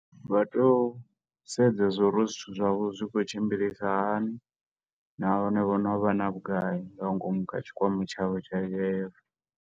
Vha to sedza zwo uri zwithu zwavho zwi khou tshimbilisa hani, na hone vho no vha na vhugai nga ngomu kha tshikwama tshavho tsha U_I_F.